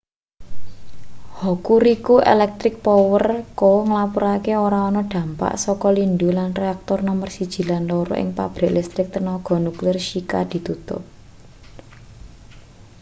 hokuriku electric power co nglapurake ora ana dampak saka lindhu lan reaktor nomer 1 lan 2 ing pabrik listrik tenaga nuklir shika ditutup